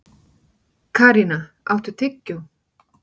Karína, áttu tyggjó?